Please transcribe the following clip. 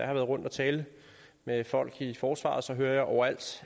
er rundt og tale med folk i forsvaret hører jeg overalt